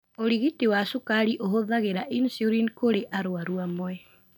ũrigiti wa cukari ũhũthagĩra insulini kũri arwaru amwe.